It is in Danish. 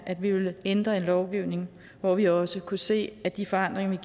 at vi ville ændre en lovgivning hvor vi også kunne se at de forandringer vi